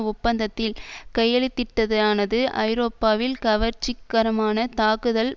ஒப்பந்தத்தில் கையெழுத்திட்டதானது ஐரோப்பாவில் கவர்ச்சிகரமான தாக்குதல்